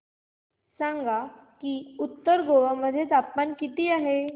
सांगा की उत्तर गोवा मध्ये तापमान किती आहे